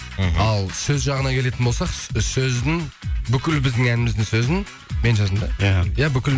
мхм ал сөз жағына келетін болсақ сөздің бүкіл біздің әніміздің сөзін мен жаздым да иә іхі